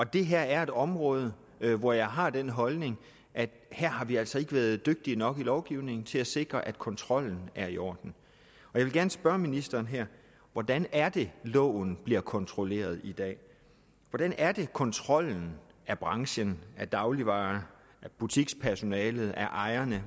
det her er et område hvor jeg har den holdning at vi altså ikke har været dygtige nok med lovgivningen til at sikre at kontrollen er i orden jeg vil gerne spørge ministeren hvordan er det loven bliver kontrolleret i dag hvordan er det kontrollen af branchen af dagligvarehandelen af butikspersonalet af ejerne